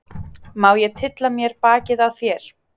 Má ég tylla mér bakið á þér?